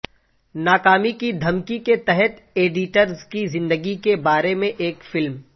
ناکامی کی دھمکی کے تحت ایڈیریز کی زندگی کے بارے میں ایک فلم